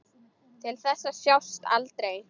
Til þess að sjást aldrei.